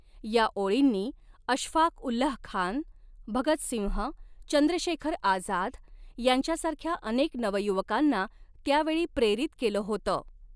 या ओळींनी अशफाक़ उल्लाह खान, भगत सिंह, चंद्रशेखर आझाद यांच्यासारख्या अनेक नवयुवकांना त्यावेळी प्रेरित केलं होतं.